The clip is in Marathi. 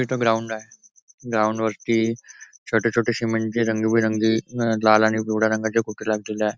इथं ग्राउंड आहे ग्राऊंड वरती छोटे छोटेशे म्हणजे रंगीबेरंगी लाल आणि पिवळ्या रंगाचे फुगे लागलेले आहे.